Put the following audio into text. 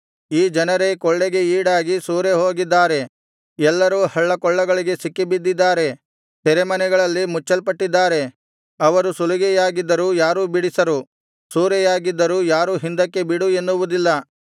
ಈ ಜನರೇ ಕೊಳ್ಳೆಗೆ ಈಡಾಗಿ ಸೂರೆಹೋಗಿದ್ದಾರೆ ಎಲ್ಲರೂ ಹಳ್ಳಕೊಳ್ಳಗಳಿಗೆ ಸಿಕ್ಕಿಬಿದ್ದಿದ್ದಾರೆ ಸೆರೆಮನೆಗಳಲ್ಲಿ ಮುಚ್ಚಲ್ಪಟ್ಟಿದ್ದಾರೆ ಅವರು ಸುಲಿಗೆಯಾಗಿದ್ದರೂ ಯಾರೂ ಬಿಡಿಸರು ಸೂರೆಯಾಗಿದ್ದರೂ ಯಾರೂ ಹಿಂದಕ್ಕೆ ಬಿಡು ಎನ್ನುವುದಿಲ್ಲ